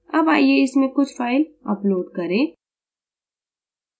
अब आइए इसमें कुछ फ़ाइल upload करें